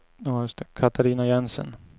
Katarina Jensen